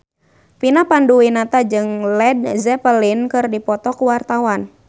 Vina Panduwinata jeung Led Zeppelin keur dipoto ku wartawan